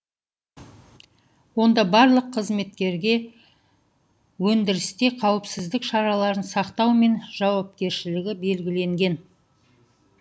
онда барлық қызметкерге өндірісте қауіпсіздік шараларын сақтау мен жауапкершілігі белгіленген